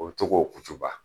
O be to k'o kucuba.